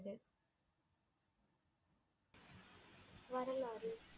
வரலாறு